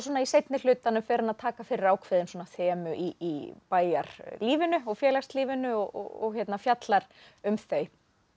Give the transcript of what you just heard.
í seinni hlutanum fer hann að taka fyrir ákveðin þemu í bæjarlífinu og félagslífinu og fjallar um þau